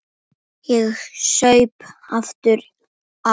Ég saup aftur á.